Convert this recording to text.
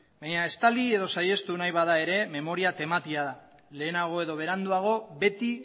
baina estali edo saihestu nahi bada ere memoria tematia da lehenago edo beranduago beti